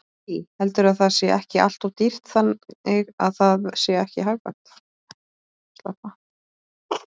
Lillý: Heldurðu að það sé ekki alltof dýrt þannig að það sé ekki hagkvæmt?